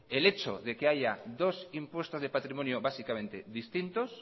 el hecho de que haya dos impuestos de patrimonio básicamente distintos